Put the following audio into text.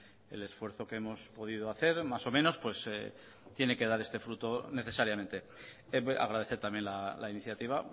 el esfuerzo que hemos podido hacer más o menos pues tiene que dar este fruto necesariamente agradecer también la iniciativa